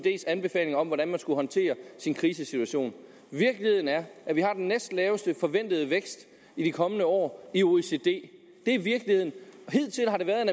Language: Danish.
anbefalinger om hvordan man skulle håndtere en krisesituation virkeligheden er at vi har den næstlaveste forventede vækst i de kommende år i oecd det er virkeligheden hidtil har der været